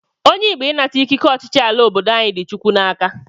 Onye Igbo ịnata ike ọchịchị ala obodo anyị dị Chukwu n'aka